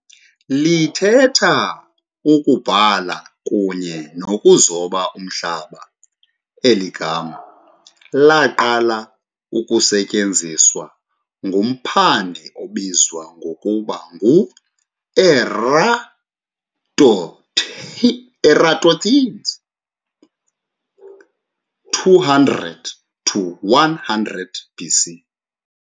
Lithetha "ukubhala kunye nokuzoba umhlaba". eli gama laqala ukusetyenziswa ngumphandi obizwa ngokuba nguEratosthenes 276 to 194 B.C.